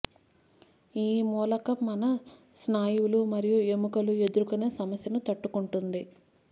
ఈ మూలకం మన స్నాయువులు మరియు ఎముకలు ఎదుర్కొనే సమస్యను తట్టుకుంటుంది